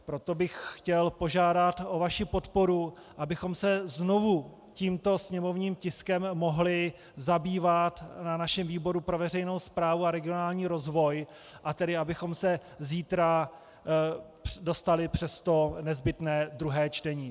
Proto bych chtěl požádat o vaši podporu, abychom se znovu tímto sněmovním tiskem mohli zabývat na našem výboru pro veřejnou správu a regionální rozvoj, a tedy abychom se zítra dostali přes to nezbytné druhé čtení.